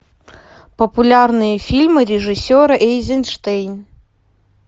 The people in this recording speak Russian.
популярные фильмы режиссера эйзенштейн